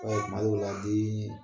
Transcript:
la den ye